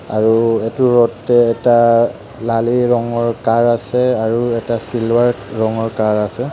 আৰু এটো ইতে এটা লালি ৰঙৰ কাৰ আছে আৰু এটা ছিলভাৰ ৰঙৰ কাৰ আছে.